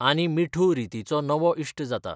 आनी मिठू रितीचो नवो इश्ट जाता.